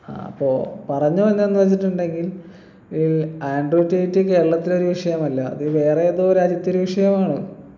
ആഹ് അപ്പൊ പറഞ്ഞു വന്ന എന്താ വെച്ചിട്ടുണ്ടെങ്കിൽ ഏർ ആൻഡ്രൂ റ്റെയ്റ്റ് കേരളത്തിൽ ഒരു വിഷയമല്ല അത് വേറെ ഏതോ രാജ്യത്തെ ഒരു വിഷയമാണ്